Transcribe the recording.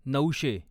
नऊशे